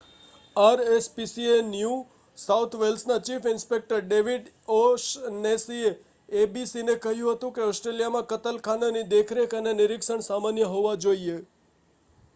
RSPCA new south વેલ્સના chief inspector David ઓ'શનેસીએ એબીસીને કહ્યું હતું કે ઓસ્ટ્રેલિયામાં કતલખાનાની દેખરેખ અને નિરીક્ષણ સામાન્ય હોવા જોઈએ